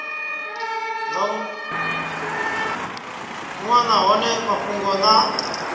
nga wana hone mafhungo na